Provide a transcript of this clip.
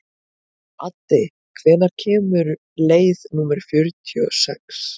Addi, hvenær kemur leið númer fjörutíu og sex?